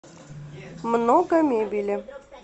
много мебели